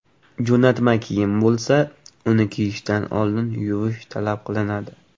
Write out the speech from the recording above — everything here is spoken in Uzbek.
Jo‘natma kiyim bo‘lsa, uni kiyishdan oldin yuvish talab qilinadi.